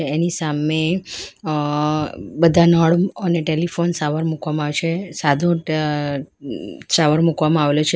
એની સામે અહ બધા નળ અને ટેલિફોન શાવર મુકવામાં આવે છે સાદુ અહ શાવર મૂકવામાં આવેલો છે.